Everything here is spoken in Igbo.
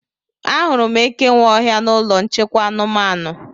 Ahụrụ m eke nwe ọhịa na ụlọ nchekwa anụmanụ